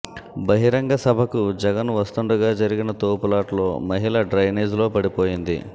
బహిరంగ సభకు జగన్ వస్తుండగా జరిగిన తోపులాటలో మహిళ డ్రైనేజ్లో పడిపోయింది